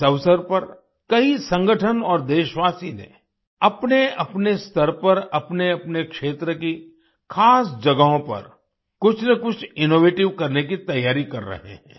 इस अवसर पर कई संगठन और देशवासी ने अपनेअपने स्तर पर अपनेअपने क्षेत्र की खास जगहों पर कुछ न कुछ इनोवेटिव करने की तैयारी कर रहे हैं